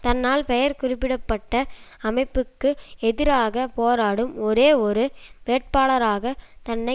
தன்னால் பெயர் குறிப்பிட பட்ட அமைப்புக்கு எதிராக போராடும் ஒரே ஒரு வேட்பாளராக தன்னை